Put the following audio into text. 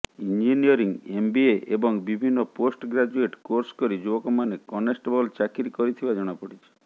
engineering MBA ଏବଂ ବିଭିନ୍ନ post graduate course କରି ଯୁବକମାନେ କନେଷ୍ଟବଳ ଚାକିରି କରିଥିବା ଜଣାପଡ଼ିଛି